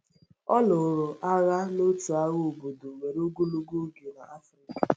Ọ lụrụ agha n’otu agha obodo were ogologo oge n’Africa..